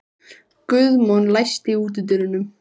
Guðmon, læstu útidyrunum.